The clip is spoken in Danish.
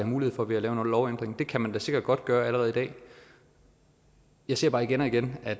mulighed for ved at lave en lovændring det kan man da sikkert godt gøre allerede i dag jeg ser bare igen og igen at